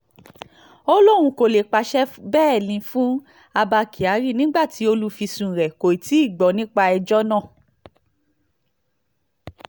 ó lóun kó lè pàṣẹ bẹ́ẹ́lí fún abba kyari nígbà tí olùfisùn rẹ̀ kò tí ì gbọ́ nípa ẹjọ́ náà